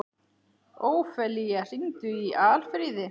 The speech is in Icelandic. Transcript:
Ófelía, hringdu í Alfríði.